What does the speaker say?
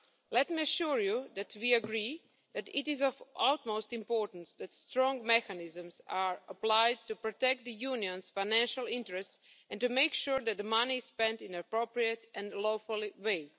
Let me assure you that we agree that it is of the utmost importance that strong mechanisms are applied to protect the Union's financial interests and to make sure that the money is spent in an appropriate and lawful way.